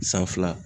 San fila